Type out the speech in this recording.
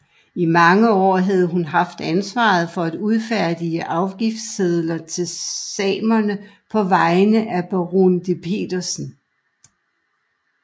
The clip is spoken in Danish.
I mange år havde hun haft ansvaret for at udfærdige afgiftssedler til samerne på vegne af baron de Petersen